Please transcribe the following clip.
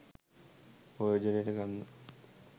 ප්‍රයෝජනයට ගන්න